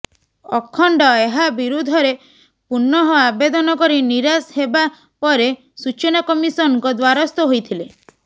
ଅଖଣ୍ଡ ଏହା ବିରୁଦ୍ଧରେ ପୁନଃ ଆବେଦନ କରି ନିରାଶ ହେବା ପରେ ସୂଚନା କମିଶନଙ୍କ ଦ୍ବାରସ୍ଥ ହୋଇଥିଲେ